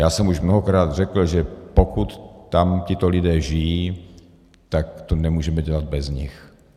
Já jsem už mnohokrát řekl, že pokud tam tito lidé žijí, tak to nemůžeme dělat bez nich.